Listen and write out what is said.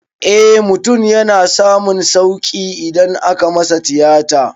Eh mutum yana samun sauƙi idan aka masa tiyata